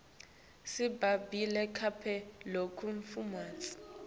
simga bli kabla lokunemafutsa